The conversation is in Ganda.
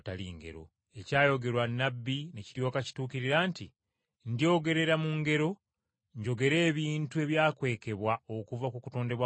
Ekyayogerwa nnabbi ne kiryoka kituukirira nti, “Ndyogerera mu ngero, njogere ebintu ebyakwekebwa okuva ku kutondebwa kw’ensi.”